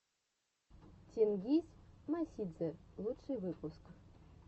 тенгиз мосидзе лучший выпуск